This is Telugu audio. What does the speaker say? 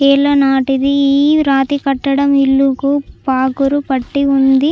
ఏళ్ల నాటిది రాతి కట్టడం ఇల్లుకు పగులు పట్టి ఉంది.